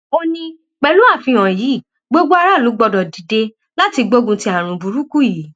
ó ní pẹlú àfihàn yìí gbogbo aráàlú gbọdọ dìde láti gbógun ti àrùn burúkú yìí